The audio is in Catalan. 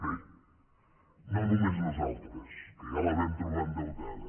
bé no només nosaltres que ja la vam trobar endeutada